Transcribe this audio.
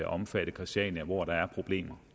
omfatte christiania hvor der jo er problemer